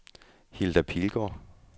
Hilda Pilgaard